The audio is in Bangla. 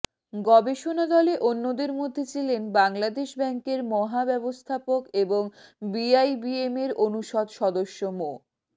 গবেষণা দলে অন্যদের মধ্যে ছিলেন বাংলাদেশ ব্যাংকের মহাব্যবস্থাপক এবং বিআইবিএমের অনুষদ সদস্য মো